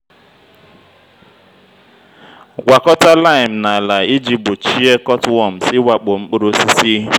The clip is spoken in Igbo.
gwakọta lime na ala iji gbochie cutworms ịwakpo mkpụrụ osisi.